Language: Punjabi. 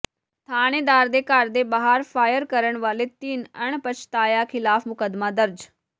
ਥਾਣੇਦਾਰ ਦੇ ਘਰ ਦੇ ਬਾਹਰ ਫਾਇਰ ਕਰਨ ਵਾਲੇ ਤਿੰਨ ਅਣਪਛਾਤਿਆਂ ਿਖ਼ਲਾਫ਼ ਮੁਕੱਦਮਾ ਦਰਜ